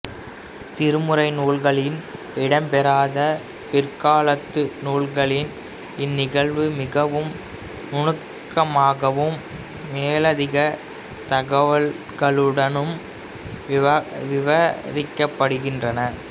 திருமுறை நூல்களில் இடம்பெறாத பிற்காலத்து நூல்களில் இன்நிகழ்வு மிகவும் நுனுக்கமாகவும் மேலதிக தகவல்களுடனும் விவரிக்கப்படுகின்றது